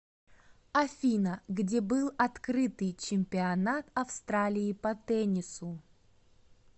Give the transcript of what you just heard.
афина где был открытый чемпионат австралии по теннису